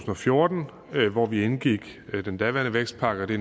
og fjorten hvor vi indgik den daværende vækstpakke og det